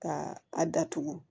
Ka a datugu